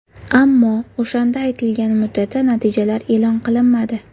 Ammo o‘shanda aytilgan muddatda natijalar e’lon qilinmadi.